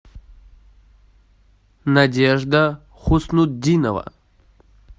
надежда хуснутдинова